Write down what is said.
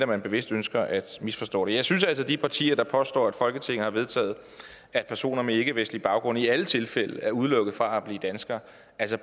man bevidst ønsker at misforstå det jeg synes også at de partier der påstår at folketinget har vedtaget at personer med ikkevestlig baggrund i alle tilfælde er udelukket fra at blive danskere